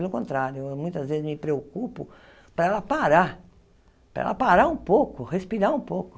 Pelo contrário, eu muitas vezes me preocupo para ela parar, para ela parar um pouco, respirar um pouco.